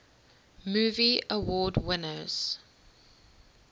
movie award winners